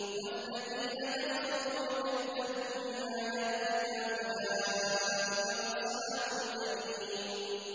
وَالَّذِينَ كَفَرُوا وَكَذَّبُوا بِآيَاتِنَا أُولَٰئِكَ أَصْحَابُ الْجَحِيمِ